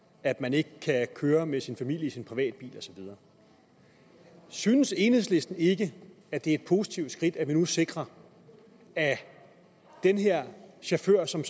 at man ikke kan køre med sin familie i sin privatbil og så videre synes enhedslisten ikke at det er et positivt skridt at vi nu sikrer at den her chauffør som